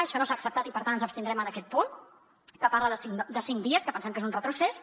això no s’ha acceptat i per tant ens abstindrem en aquest punt que parla de cinc dies que pensem que és un retrocés